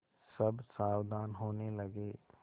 सब सावधान होने लगे